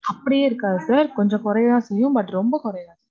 அப்படியே இருக்காது sir. கொஞ்சம் கொறையத்தான் செய்யும். But ரொம்ப குறையாது